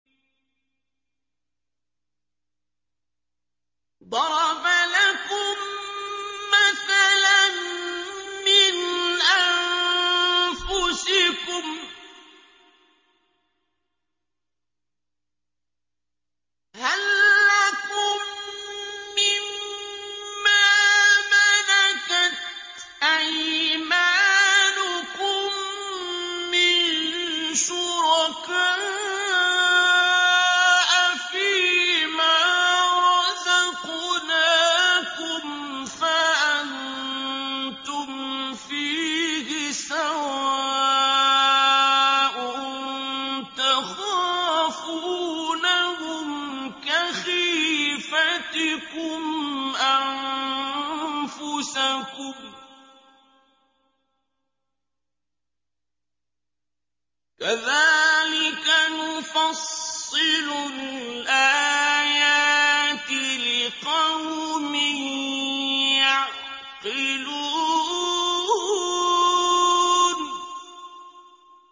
ضَرَبَ لَكُم مَّثَلًا مِّنْ أَنفُسِكُمْ ۖ هَل لَّكُم مِّن مَّا مَلَكَتْ أَيْمَانُكُم مِّن شُرَكَاءَ فِي مَا رَزَقْنَاكُمْ فَأَنتُمْ فِيهِ سَوَاءٌ تَخَافُونَهُمْ كَخِيفَتِكُمْ أَنفُسَكُمْ ۚ كَذَٰلِكَ نُفَصِّلُ الْآيَاتِ لِقَوْمٍ يَعْقِلُونَ